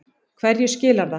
Hverju skilar það?